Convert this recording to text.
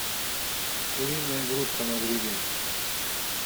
куриная грудка на гриле